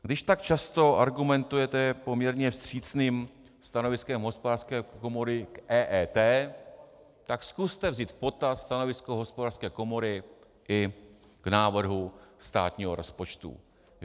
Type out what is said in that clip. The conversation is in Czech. Když tak často argumentujete poměrně vstřícným stanoviskem Hospodářské komory k EET, tak zkuste vzít v potaz stanovisko Hospodářské komory i k návrhu státního rozpočtu.